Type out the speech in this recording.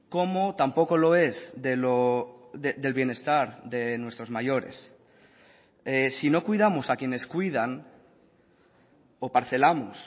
como tampoco lo es del bienestar de nuestros mayores si no cuidamos a quienes cuidan o parcelamos